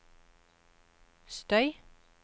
støy